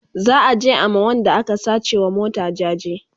za'a je a ma Wanda aka sace wa mota jaje